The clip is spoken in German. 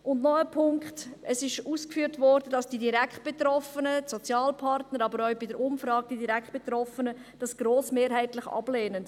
Noch ein Punkt: Es wurde ausgeführt, dass die Direktbetroffenen – die Sozialpartner, aber auch die Direktbetroffenen in der Umfrage – die Vertrauensarbeitszeit grossmehrheitlich ablehnen.